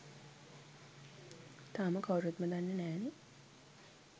තාම කවුරුත්ම දන්නෙ නෑනෙ